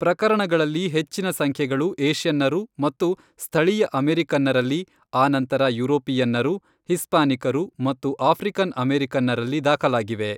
ಪ್ರಕರಣಗಳಲ್ಲಿ ಹೆಚ್ಚಿನ ಸಂಖ್ಯೆಗಳು ಏಷ್ಯನ್ನರು ಮತ್ತು ಸ್ಥಳೀಯ ಅಮೆರಿಕನ್ನರಲ್ಲಿ , ಆನಂತರ ಯುರೋಪಿಯನ್ನರು, ಹಿಸ್ಪಾನಿಕರು ಮತ್ತು ಆಫ್ರಿಕನ್ ಅಮೆರಿಕನ್ನರಲ್ಲಿ ದಾಖಲಾಗಿವೆ .